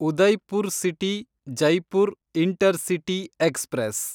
Udaipur city Jaipur intercity express